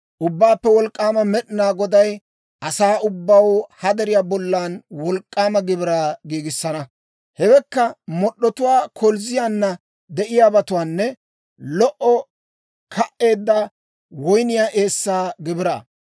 Ubbaappe Wolk'k'aama Med'inaa Goday asaa ubbaw ha deriyaa bollan wolk'k'aama gibiraa giigissana; hewekka mod'd'otuwaa, kolzziyaana de'iyaabatuwaanne lo"o ka"eedda woyniyaa eessaa gibiraa.